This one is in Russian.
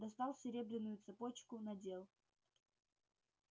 достал серебряную цепочку надел